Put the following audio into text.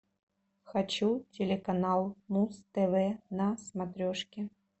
хочу телеканал муз тв на смотрешке